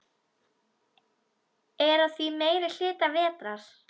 Er að því meiri hluta vetrar.